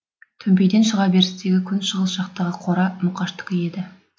төмпейден шыға берістегі күн шығыс жақтағы қора мұқаштікі еді